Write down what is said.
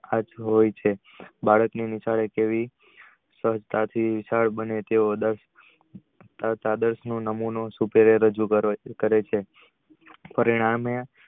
હોય છે બાળક ની કેવી સ્વછતાથી વિશાલ બને છે આ નમૂનો રજુ કરે છે. પરિણામે